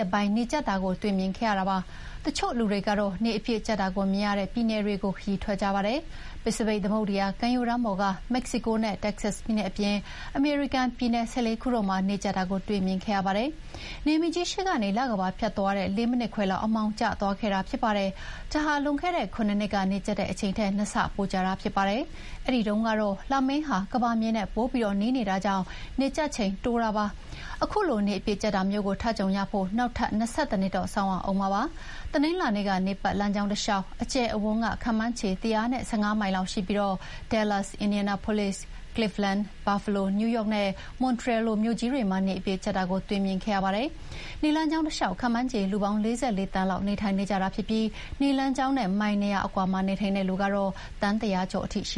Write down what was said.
တပိုင်းနေကြတ်တာကိုတော့ တွေ့မြင်ခဲ့ကြရတာပါ။ တချို့လူတွေကတော့ နေအပြည့်ကြတ်တာကိုမြင်ရတဲ့ ပြည်နယ်တွေဆီ ခရီးထွက်ကြပါတယ်။ ပစိဖိတ်သမုဒ္ဒရာကမ်းရိုးတန်းပေါ်က မက္ကဆီကိုနဲ့ တက္ကဆတ်ပြည်နယ်အပြင် အမေရိကန်ပြည်နယ် ၁၄ ခုတို့မှာ နေကြတ်တာကိုတွေ့မြင်ခဲ့ကြရပါတယ်။ နေမင်းကြီး ရှေ့ကနေ လကမ္ဘာ ဖြတ်သွားတဲ့ ၄ မိနစ်ခွဲလောက် အမှောင်ကျသွားခဲ့တာဖြစ်ပါတယ်။ ဒါဟာ လွန်ခဲ့တဲ့ ၇ နှစ်က နေကြတ်ခဲ့တဲ့အချိန်ထက် ၂ ဆပိုကြာတာဖြစ်ပါတယ်။ အဲဒီတုန်းကတော့ လမင်းက ကမ္ဘာမြေနဲ့ ပိုပြီးနီးနေတာကြောင့်နေကြတ်ချိန်တိုတာပါ။ ခုလို နေအပြည့်ကြတ်တာမျိုးကို ထပ်ကြုံရဖို့ နောက်ထပ် ၂၁ တော့ စောင့်ရဦးမှာဖြစ်ပါတယ်။ တနင်္လာနေ့က နေပတ်လမ်းကြောင်းတလျှောက် အကျယ်အဝန်းက ခန့်မှန်းခြေ ၁၁၅ မိုင်လောက်ရှိပြီး Dallas၊ Indianapolis၊ Cleveland၊ Buffalo၊ New York နဲ့ Montreal လိုမြို့ကြီးတွေမှာ နေအပြည့်ကြတ်တာကို တွေ့မြင်ခဲ့ရတာပါ။ နေလမ်းကြောင်းတလျှောက် ခန့်မှန်းခြေလူ ၄၄ သန်းလောက် နေထိုင်ကြပြီး နေလမ်းကြောင်းနဲ့ မိုင် ၂ ရာအကွာမှာနေထိုင်တဲ့လူက သန်း၁ ရာကျော်ထိရှ